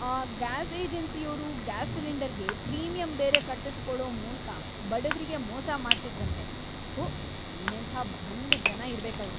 ಆ ಗ್ಯಾಸ್ ಏಜೆನ್ಸಿಯೋರು ಗ್ಯಾಸ್ ಸಿಲಿಂಡರ್ಗೆ ಪ್ರೀಮಿಯಂ ಬೇರೆ ಕಟ್ಟಿಸ್ಕೊಳೋ ಮೂಲ್ಕ ಬಡವ್ರಿಗೆ ಮೋಸ ಮಾಡ್ತಿದ್ರಂತೆ! ಥು, ಇನ್ನೆಂಥ ಭಂಡ್‌ ಜನ ಇರ್ಬೇಕವ್ರು!